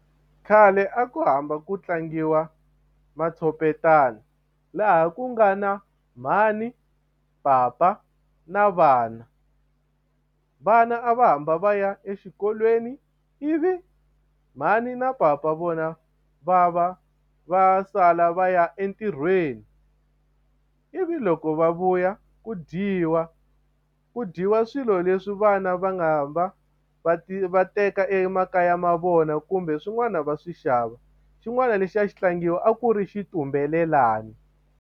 Khale a ku hamba ku tlangiwa matshopetana laha ku nga na mhani, papa na vana vana a va hamba va ya exikolweni ivi mhani na papa vona va va va sala va ya entirhweni ivi loko va vuya ku dyiwa ku dyiwa swilo leswi vana va nga va va va teka emakaya ma vona kumbe swin'wana va swi xava xin'wana lexi a xi tlangiwa a ku ri xitumbelelani.